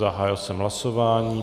Zahájil jsem hlasování.